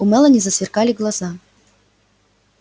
у мелани засверкали глаза